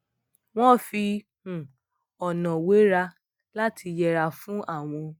wón fi um ònà wẹra lati yẹra fún àwọn